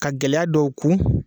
Ka gɛlɛya dɔw kun